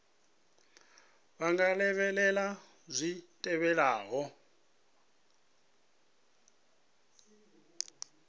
vha nga lavhelela zwi tevhelaho